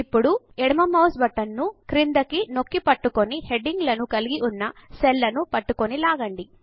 ఇప్పుడు ఎడమ mouse button ను క్రిందికి నొక్కి పట్టుకుని హెడింగ్ లను కలిగి ఉన్న సెల్లను పట్టుకొని లాగండి